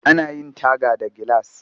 Ana yin taga da gilas